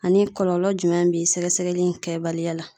Ani kɔlɔlɔ jumɛn bi sɛgɛsɛgɛli in kɛbaliya la?